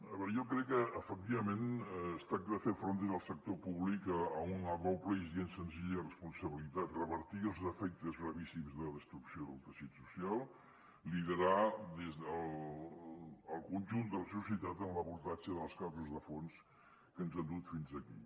a veure jo crec que efectivament es tracta de fer front des del sector públic a una doble i gens senzilla responsabilitat revertir els efectes gravíssims de destrucció del teixit social liderar el conjunt de la societat en l’abordatge de les causes de fons que ens han dut fins aquí